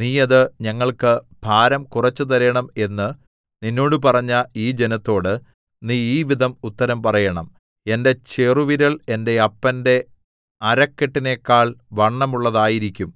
നീ അത് ഞങ്ങൾക്ക് ഭാരം കുറച്ച് തരേണം എന്ന് നിന്നോട് പറഞ്ഞ ഈ ജനത്തോട് നീ ഈ വിധം ഉത്തരം പറയേണം എന്റെ ചെറുവിരൽ എന്റെ അപ്പന്റെ അരക്കെട്ടിനെക്കാൾ വണ്ണമുള്ളതായിരിക്കും